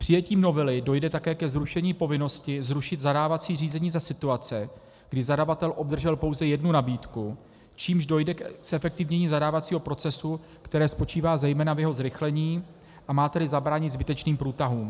Přijetím novely dojde také ke zrušení povinnosti zrušit zadávací řízení za situace, kdy zadavatel obdržel pouze jednu nabídku, čímž dojde ke zefektivnění zadávacího procesu, které spočívá zejména v jeho zrychlení, a má tedy zabránit zbytečným průtahům.